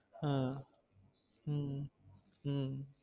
ஹம் உம் உம்